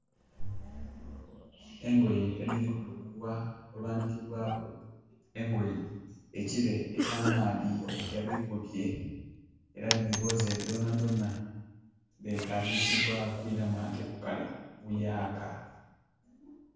Engoye ediri kuluguwa olwanikibwaku engoye ekire ekya maadhi gadhi kubye era dhiboze dhonadhona, dhetagisibwa kwiramu anti okukala buyaka